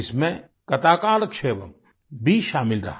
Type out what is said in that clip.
इसमें कताकालक्षेवम् भी शामिल रहा